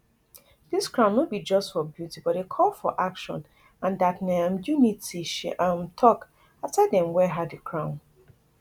dis crown no be just for beauty but a call for action and dat na um unity she um tok afta dem wear her di crown